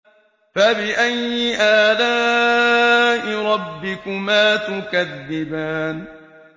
فَبِأَيِّ آلَاءِ رَبِّكُمَا تُكَذِّبَانِ